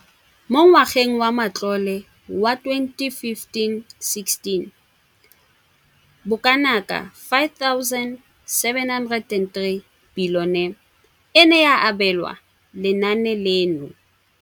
Mo ngwageng wa matlole wa 2015,16, bokanaka R5 703 bilione e ne ya abelwa lenaane leno.